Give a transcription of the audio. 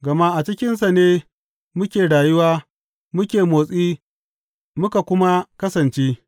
Gama a cikinsa ne muke rayuwa muke motsi muka kuma kasance.’